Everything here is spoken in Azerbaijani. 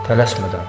Tələsmədən.